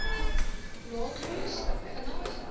laat kos vinnig